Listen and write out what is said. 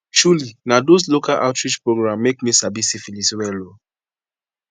truely na those local outreach program make me sabi syphilis well o